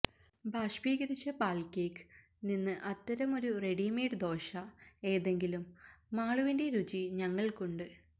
ബാഷ്പീകരിച്ച പാൽ കേക്ക് നിന്ന് അത്തരം ഒരു റെഡിമെയ്ഡ് ദോശ ഏതെങ്കിലും മാളുവിന്റെ രുചി ഞങ്ങൾക്കുണ്ട്